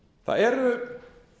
það eru